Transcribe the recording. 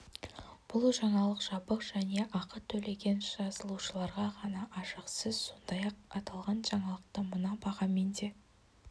бұл жаңалық жабық және ақы төлеген жазылушыларға ғана ашық сіз сондай-ақ аталған жаңалықты мына бағамен де